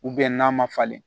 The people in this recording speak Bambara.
n'a ma falen